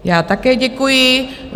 Já také děkuji.